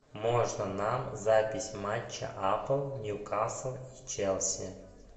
можно нам запись матча апл ньюкасл и челси